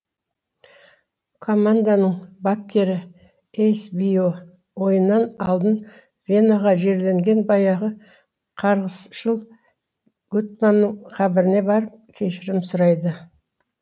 команданың бапкері эйсбио ойыннан алдын венаға жерленген баяғы қарғысшыл гутманның қабіріне барып кешірім сұрайды